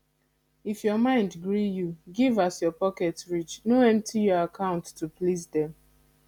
if your mind gree you give as your pocket reach no empty your account to please dem